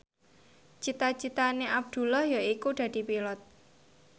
cita citane Abdullah yaiku dadi Pilot